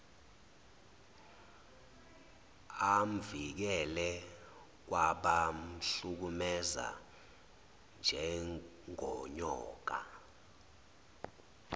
amvikele kwabamhlukumeza njengonyoka